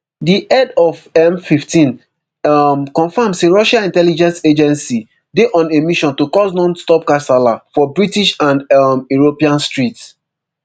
di head of mfifteen um confam say russia intelligence agency dey on a mission to cause nonstop kasala for british and um european streets